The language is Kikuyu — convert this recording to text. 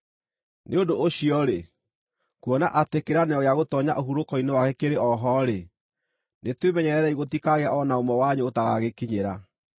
Nĩ ũndũ ũcio-rĩ, kuona atĩ kĩĩranĩro gĩa gũtoonya ũhurũko-inĩ wake kĩrĩ o ho-rĩ, nĩtwĩmenyererei gũtikagĩe o na ũmwe wanyu ũtagagĩkinyĩra.